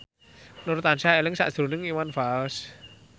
Nur tansah eling sakjroning Iwan Fals